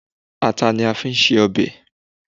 Ata ni a máa fi ń ṣe ọbẹ̀.